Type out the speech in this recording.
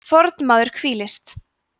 fornmaður hvílist